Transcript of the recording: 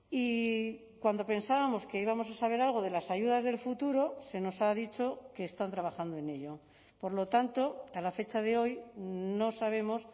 y cuando pensábamos que íbamos a saber algo de las ayudas del futuro se nos ha dicho que están trabajando en ello por lo tanto a la fecha de hoy no sabemos